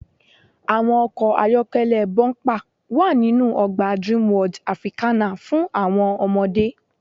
Àwọn ọkọ̀ ayọ́kẹ́lẹ́ bọ́ḿpà wa ninu ọgbà Dreamworld Africana fún àwọn ọmọdé.